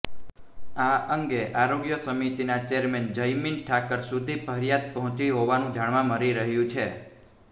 આ અંગે આરોગ્ય સમિતિના ચેરમેન જયમીન ઠાકર સુધી ફરિયાદ પહોંચી હોવાનું જાણવા મળી રહ્યું છે